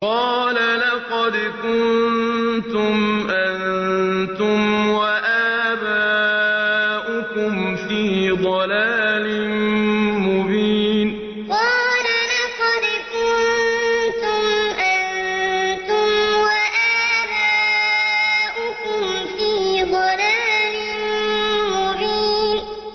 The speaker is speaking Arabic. قَالَ لَقَدْ كُنتُمْ أَنتُمْ وَآبَاؤُكُمْ فِي ضَلَالٍ مُّبِينٍ قَالَ لَقَدْ كُنتُمْ أَنتُمْ وَآبَاؤُكُمْ فِي ضَلَالٍ مُّبِينٍ